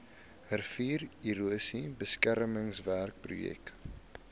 riviererosie beskermingswerke projek